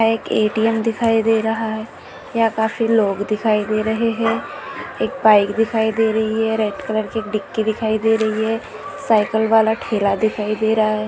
वहा एक ए_टी_एम दिखाई दे रहा है यहाँ काफी लोग दिखाई दे रहे है एक बाइक दिखाई दे रही है रेड कलर की एक डिक्की दिखाई दे रही है साइकलवाला ठेला दिखाई दे रहा है।